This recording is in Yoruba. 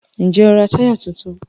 Ǹjẹ́ o ra táyà tuntun?